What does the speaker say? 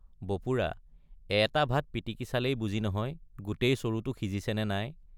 বপুৰা—এটা ভাত পিটিকি চালেই বুজি নহয় গোটেই চৰুটো সিজিছে নে নাই।